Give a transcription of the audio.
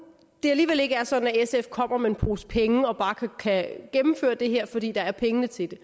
alligevel ikke er sådan at sf kommer med en pose penge og bare kan gennemføre det her fordi der er penge til det